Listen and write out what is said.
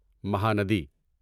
Mahanadi